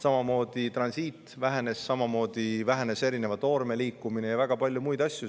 Samamoodi vähenes transiit, samamoodi vähenes erineva toorme liikumine ja väga palju muid asju.